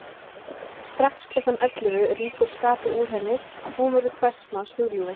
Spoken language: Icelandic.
Strax klukkan ellefu rýkur skapið úr henni og hún verður hvers manns hugljúfi.